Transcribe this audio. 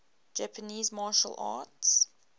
japanese martial arts